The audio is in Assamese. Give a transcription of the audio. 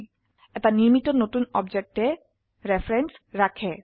এটা শুধুমাত্ৰ নিৰ্মিত নতুন অবজেক্টেৰ ৰেফাৰেন্স ৰাখে